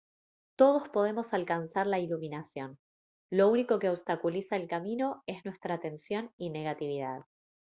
todos podemos alcanzar la iluminación lo único que obstaculiza el camino es nuestra tensión y negatividad